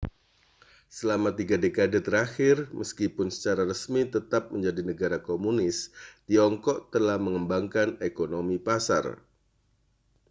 selama tiga dekade terakhir meskipun secara resmi tetap menjadi negara komunis tiongkok telah mengembangkan ekonomi pasar